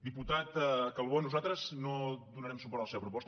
diputat calbó nosaltres no donarem suport a la seva proposta